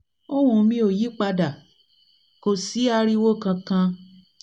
ohùn mi ò yí pa dà kò sí ariwo kankan